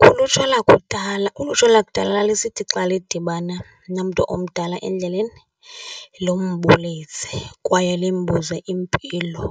Kulutsha lakudala, ulutsha lakudala lalisithi xa lidibana nomntu omdala endleleni limbulise kwaye limbuze impilo.